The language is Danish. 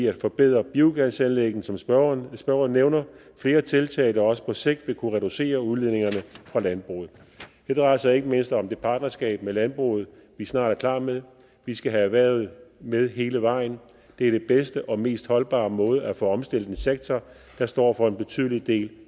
at forbedre biogasanlæggene som spørgeren spørgeren nævner flere tiltag der også på sigt vil kunne reducere udledningerne fra landbruget det drejer sig ikke mindst om det partnerskab med landbruget vi snart er klar med vi skal have erhvervet med hele vejen det er den bedste og mest holdbare måde at få omstillet en sektor der står for en betydelig del